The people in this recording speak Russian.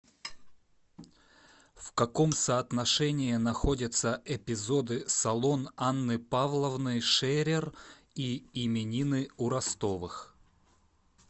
в каком соотношении находятся эпизоды салон анны павловны шерер и именины у ростовых